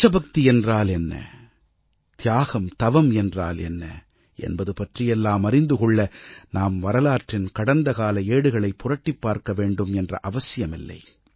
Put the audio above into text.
தேசபக்தி என்றால் என்ன தியாகம் தவம் என்றால் என்ன என்பது பற்றியெல்லாம் அறிந்து கொள்ள நாம் வரலாற்றின் கடந்த கால ஏடுகளைப் புரட்டிப் பார்க்கவேண்டும் என்ற அவசியமில்லை